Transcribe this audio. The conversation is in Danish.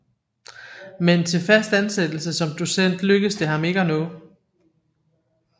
Men til fast ansættelse som docent lykkedes det ham ikke at nå